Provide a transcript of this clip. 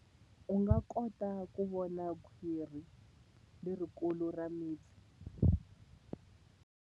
U nga kota ku vona khwiri lerikulu ra mipfi.